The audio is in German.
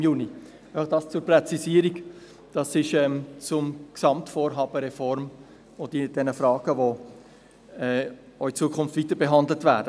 Dies einfach eine Präzisierung zum Gesamtvorhaben der Reform und zu den Fragen, die auch in Zukunft weiterbehandelt werden.